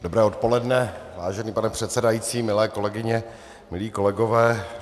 Dobré odpoledne, vážený pane předsedající, milé kolegyně, milí kolegové.